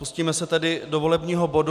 Pustíme se tedy do volebního bodu.